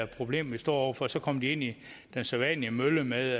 problem vi står over for og så kom de ind i den sædvanlige mølle med